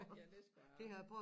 Ja det skulle jeg have haft